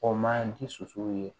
O ma ɲi ti susu ye